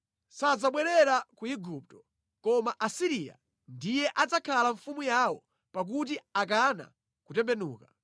“Sadzabwerera ku Igupto, koma Asiriya ndiye adzakhala mfumu yawo pakuti akana kutembenuka.